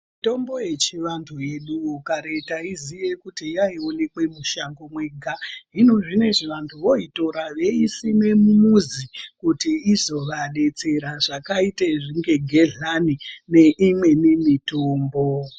Mitombo yechivantu yedu kare taiziva kuti yaionekwa mushango mwega hino zvinezvi vantu voitora voisima mumuzi kuti izofadetsera zvakaita segehlani neimweni mitombo.